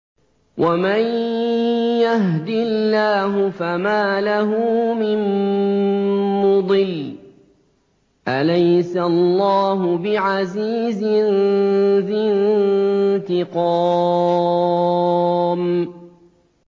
وَمَن يَهْدِ اللَّهُ فَمَا لَهُ مِن مُّضِلٍّ ۗ أَلَيْسَ اللَّهُ بِعَزِيزٍ ذِي انتِقَامٍ